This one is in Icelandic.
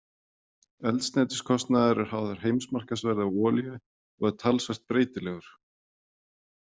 Eldsneytiskostnaður er háður heimsmarkaðsverði á olíu og er talsvert breytilegur.